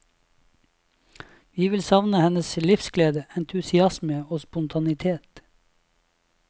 Vi vil savne hennes livsglede, entusiasme og spontanitet.